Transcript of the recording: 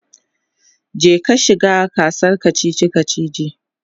je ka shiga gasar kachichi kachichi!